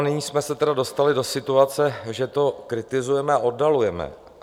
A nyní jsme se tedy dostali do situace, že to kritizujeme a oddalujeme.